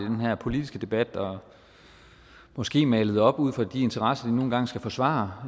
i den her politiske debat og måske malet tingene op ud fra de interesser de nu engang skal forsvare